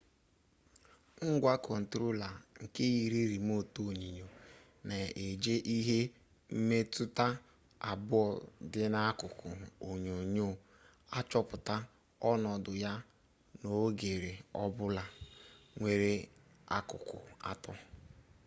ngwa kọntrola nke yiri rimotu onyonyo na-eji ihe mmetụta abụọ dị n'akụkụ onyonyo achọpụta ọnọdụ ya n'oghere ọbụla nwere akụkụ atọ